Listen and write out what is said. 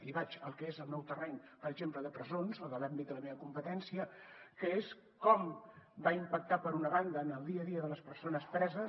i vaig al que és el meu terreny de presons o l’àmbit de la meva competència que és com va impactar per una banda en el dia a dia de les persones preses